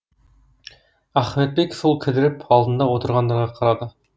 ахметбек сол кідіріп алдында отырғандарға қарады